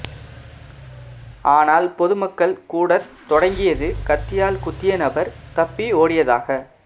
ஆனால் பொதுமக்கள் கூடத் தொடங்கியது கத்தியால் குத்திய நபர் தப்பி ஓடியதாக